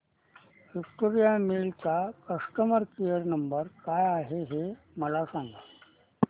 Victoria mills चा customer care number काय आहे हे मला सांगा